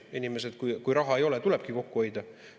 Inimesel, kui raha ei ole, tulebki kokku hoida.